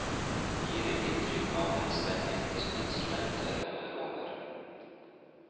De gir et inntrykk av den spennvidden som instrumentet råder over.